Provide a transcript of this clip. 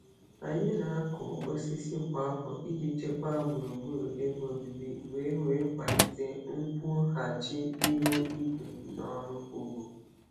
Anyị na-akụ osisi kwa afọ iji chekwaa gburugburu ebe obibi wee wee kwalite nkwụghachi ihu igwe na ọrụ ugbo.